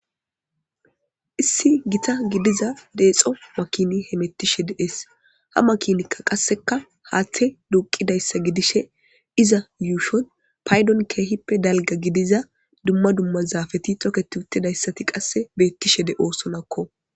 issi gita gidida deexo makini he mettishe de es ha makinikka qasseka haaththe duqidayssa gidishe iza yuushon paydon keehippe dalga gidiza dumma dumma zaafeti toket uttidayssati qasse beettishe de oosonakko